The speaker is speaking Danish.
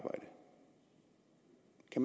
i